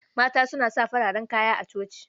Mata suna fararen kaya a coci.